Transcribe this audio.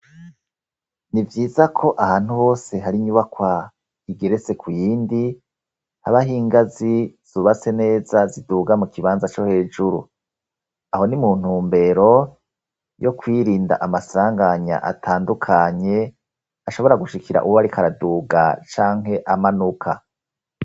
Ni vyiza ko ahantu hose hari inyubakwa igeretse ku yindi habaho ingazi zubaste neza ziduga mu kibanza cyo hejuru aho ni muntumbero yo kwirinda amasanganya atandukanye ashobora gushikira ubarikaraduga canke amanuka.